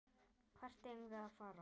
Hvert eigum við að fara?